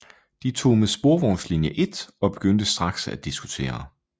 De tog med sporvognslinje 1 og begyndte straks at diskutere